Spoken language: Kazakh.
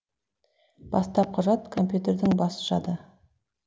бастапқы жад компьютердің бас жады